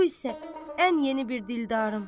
Bu isə ən yeni bir dildarım.